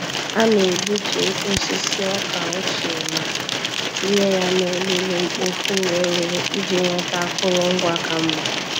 A na-egbutu osisi ọka ochie ma tinye ya na olulu-mkpofu-ureghure iji nweta akụrụngwa ka mma.